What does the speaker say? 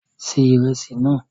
Se ìrẹsì náà!